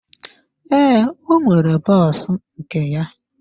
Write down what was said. Ee, ọ nwere bọs nke ya.